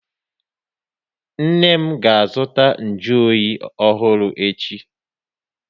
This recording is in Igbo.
Nne m ga azụta nju oyi ọhụrụ echi